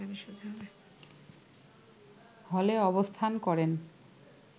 হলে অবস্থান করেন